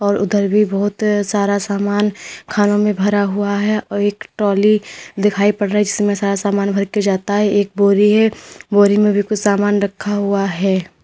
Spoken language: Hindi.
उधर भी बहोत सारा समान खानों में भरा हुआ है और एक ट्रॉली दिखाई पड़ रही है इसमें सारा सामान भर के जाता है एक बोरी है बोरी में भी कुछ सामान रखा हुआ है।